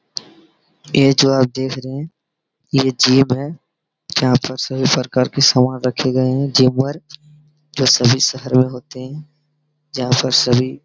ये जो आप देख रहे हैं यह जिम है जहाँ पर सभी प्रकार की समान रखे गए हैं जिम वर्क जो सभी शहर में होते हैं जहाँ पर सभी --